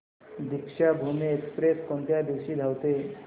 Deekshabhoomi express कोणत्या दिवशी धावते